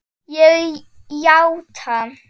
Ég játa.